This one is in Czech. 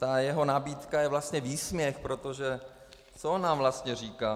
Ta jeho nabídka je vlastně výsměch, protože co on nám vlastně říká?